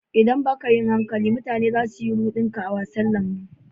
ldan ba ka yin hankali, mutane za su yi rudin ka a wasan labaru.